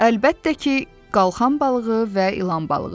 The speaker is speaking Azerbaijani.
Əlbəttə ki, qalxan balığı və ilan balığı.